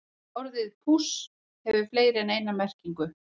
Orðið púss hefur fleiri en eina merkingu.